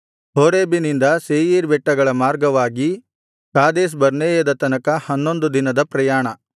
ಹೋರೇಬಿನಿಂದ Seir ಬೆಟ್ಟಗಳ ಮಾರ್ಗವಾಗಿ ಕಾದೇಶ್‌ಬರ್ನೇಯದ ತನಕ ಹನ್ನೊಂದು ದಿನದ ಪ್ರಯಾಣ